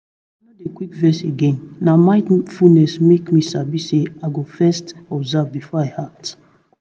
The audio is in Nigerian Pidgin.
omo i no dey quick vex again na mindfulness make me sabi say i go first observe before i act.